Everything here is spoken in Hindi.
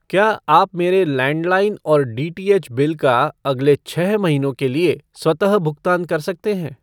क्या आप मेरे लैंडलाइन और डीटीएच बिल का अगले छः महीनों के लिए स्वतः भुगतान कर सकते हैं?